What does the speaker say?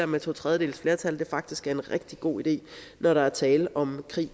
med to tredjedels flertal faktisk er en rigtig god idé når der er tale om krig